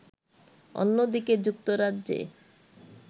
অন্যদিকে যুক্তরাজ্যে